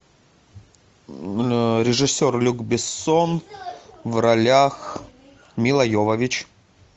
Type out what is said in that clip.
режиссер люк бессон в ролях мила йовович